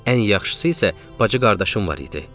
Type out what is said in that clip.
Ən yaxşısı isə bacı qardaşım var idi.